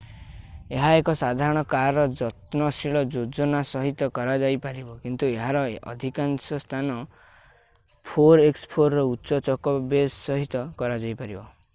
ଏହା ଏକ ସାଧାରଣ କାର୍‌ରେ ଯତ୍ନଶୀଳ ଯୋଜନା ସହିତ କରାଯାଇପାରିବ କିନ୍ତୁ ଏହାର ଏଥିକାଂଶ ସ୍ଥାନ 4x4 ର ଉଚ୍ଚ ଚକ ବେସ୍ ସହିତ କରାଯାଇପାରିବ।